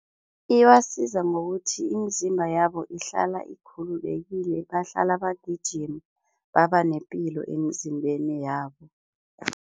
Ibasiza ngokuthi imizimba yabo ihlala ikhululekile, bahlala bagijima babanepilo emzimbeni yabo.